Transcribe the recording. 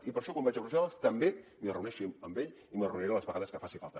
i per això quan vaig a brussel·les també m’hi reuneixo amb ell i m’hi reuniré les vegades que faci falta